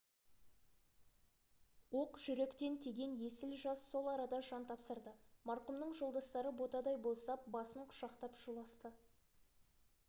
оқ жүректен тиген есіл жас сол арада жан тапсырды марқұмның жолдастары ботадай боздап басын құшақтап шуласты